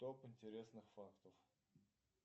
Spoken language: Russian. топ интересных фактов